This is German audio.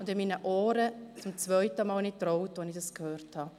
Ich habe meinen Ohren zum zweiten Mal nicht getraut, als ich dies gehört habe.